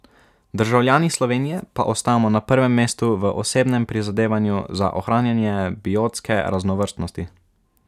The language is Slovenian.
Državljani Slovenije pa ostajamo na prvem mestu v osebnem prizadevanju za ohranjanje biotske raznovrstnosti.